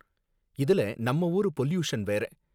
இதுல நம்ம ஊரு பொல்யூஷன் வேற